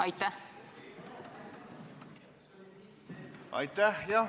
Aitäh!